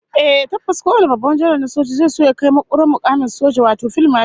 Ehh tabbas kowane babban janar na soja zai so ya kai makurar mukamin soja, wato fil mashal